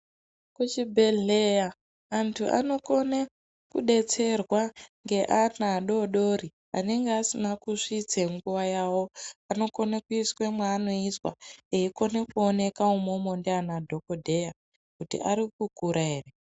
Kuchibhedhleya antu anokone kudetserwa ngeana adodori anenge asine kusvitse nguwa yawo anokone kuiswe mwaanoiswa eikone kuoneka umomo ndiana dhokodheya kuti ari kukura ere.